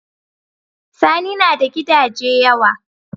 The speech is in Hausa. Sani nada Gidaje yawa